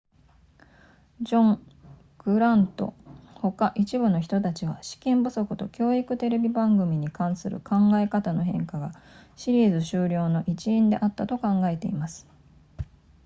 ジョングラントほか一部の人たちは資金不足と教育テレビ番組に関する考え方の変化がシリーズ終了の一因であったと考えています